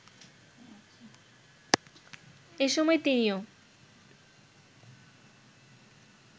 এসময় তিনিও